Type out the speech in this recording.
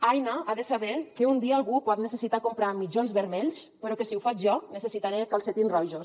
aina ha de saber que un dia algú pot necessitar comprar mitjons vermells però que si ho faig jo necessitaré calcetins rojos